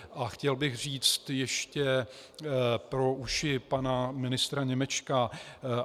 A chtěl bych říct ještě pro uši pana ministra Němečka.